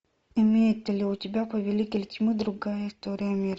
имеется ли у тебя повелитель тьмы другая история мира